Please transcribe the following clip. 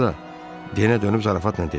Sonra da Denə dönüb zarafatla dedi.